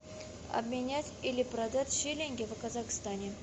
обменять или продать шиллинги в казахстане